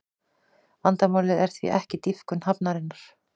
Vandamálið er því ekki dýpkun hafnarinnar